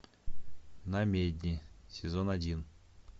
намедни сезон один